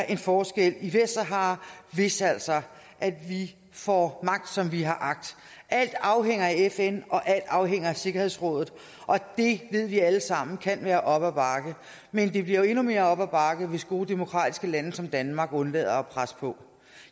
en forskel i vestsahara hvis altså vi får magt som vi har agt alt afhænger af fn og alt afhænger af sikkerhedsrådet og det ved vi alle sammen kan være op ad bakke men det bliver jo endnu mere op ad bakke hvis gode demokratiske lande som danmark undlader at presse på